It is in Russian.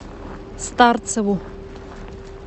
старцеву